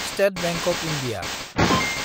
state bank of India